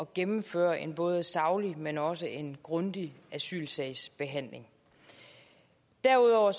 gennemføre en både saglig men også en grundig asylsagsbehandling derudover